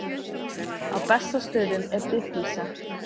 Á Bessastöðum er dýflissa.